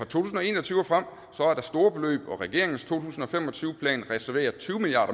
tusind og en og tyve og frem er der store beløb og regeringens to tusind og fem og tyve plan reserverer tyve milliard